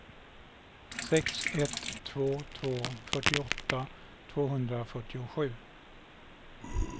sex ett två två fyrtioåtta tvåhundrafyrtiosju